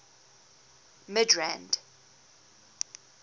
midrand